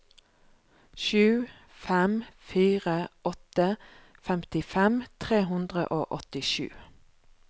sju fem fire åtte femtifem tre hundre og åttisju